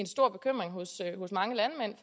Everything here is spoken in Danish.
stor bekymring hos mange landmænd